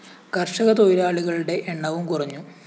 കര്‍ഷക തൊഴിലാളികളുടെ എണ്ണവും കുറഞ്ഞു